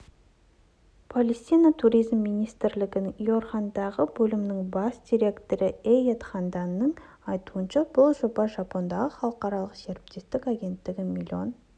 палестина туризм министрлігінің иерихондағы бөлімінің бас директорыэйяд хамданның айтуынша бұл жобаға жапониядағы халықаралық серіктестік агенттігі млн